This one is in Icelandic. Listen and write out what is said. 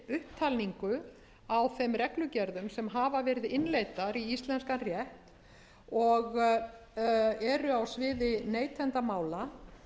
upptalningu á þeim reglugerðum sem hafa verið innleiddar í íslenskan rétt og eru á sviði neytendamála